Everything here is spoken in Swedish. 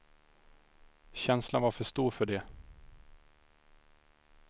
Känslan var för stor för det.